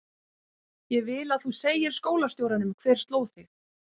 Ég vil að þú segir skólastjóranum hver sló þig.